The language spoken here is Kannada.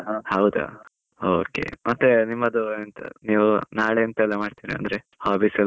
ಹೌದಾ, okay ಮತ್ತೆ ನಿಮ್ಮದು ನೀವು ನಾಳೆ ಎಂತಾಯೆಲ್ಲಾ ಮಾಡ್ತೀರಾ ಅಂದ್ರೆ, hobbies ಎಲ್ಲಾ?